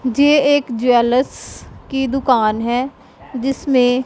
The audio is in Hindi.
जे एक ज्वेलर्स की दुकान है जिसमें--